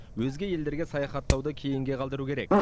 өзге елдерге саяхаттауды кейінге қалдыру керек